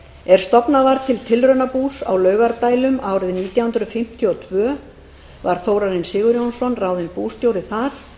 er stofnað var til tilraunabús í laugardælum árið nítján hundruð fimmtíu og tvö var þórarinn sigurjónsson ráðinn bústjóri þar